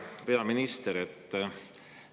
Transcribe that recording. Hea peaminister!